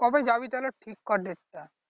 কবে যাবি তাহলে ঠিক কর ডেটটা